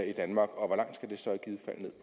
i danmark og